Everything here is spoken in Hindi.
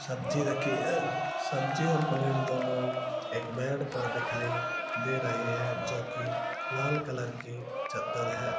सब्जी रखी है सब्जी और प्लेट दोनों एक बेड पर दिखाई दे रहे हैं जो की लाल कलर की चद्दर है।